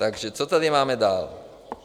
Takže co tady máme dál?